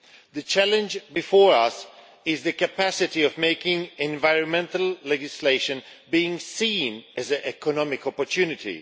The challenge before us is the capacity of making environmental legislation being seen as an economic opportunity.